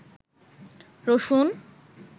রসুন